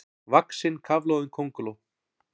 vaxin kafloðin könguló.